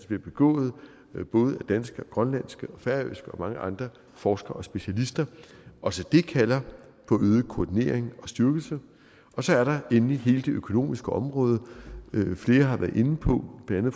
bliver begået af både danske og grønlandske og færøske og mange andre forskere og specialister også det kalder på øget koordinering og styrkelse så er der endelig hele det økonomiske område flere har været inde på blandt